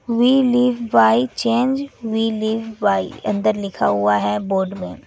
We live by change we live by अंदर लिखा हुआ है बोर्ड में।